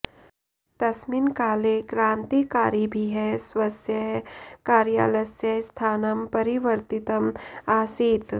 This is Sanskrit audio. तस्मिन् काले क्रान्तिकारिभिः स्वस्य कार्यालयस्य स्थानं परिवर्तितम् आसीत्